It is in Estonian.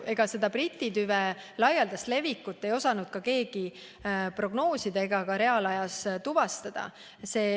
Briti tüve laialdast levikut ei osanud keegi prognoosida ega ka reaalajas tuvastada.